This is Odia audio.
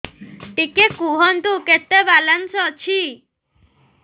ଟିକେ କୁହନ୍ତୁ କେତେ ବାଲାନ୍ସ ଅଛି